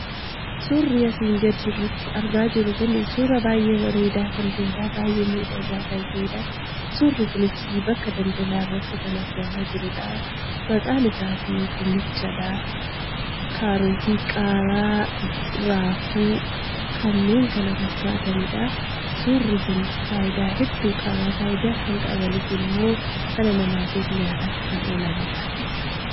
Suurri asi gaditti argaa jirru kun, suuraa baay'ee bareeda, baay'ee miidhaga ta'edha. suurri kunis bakka daldala irratti kan argama jirudha. maqaan isaas dinnichadha, karootii, qaaraa, raafuu, kkf. nidha. suurri kun faayida hedduu qaba. faayidaa isaan qabanisimmo dhala namatif nyaataaf kan oolaanidha jechudha.